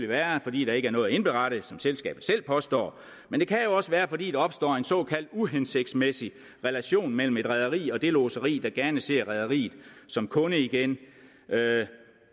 være fordi der ikke er noget at indberette som selskabet selv påstår men det kan jo også være fordi der opstår en såkaldt uhensigtsmæssig relation mellem et rederi og det lodseri der gerne ser rederiet som kunde igen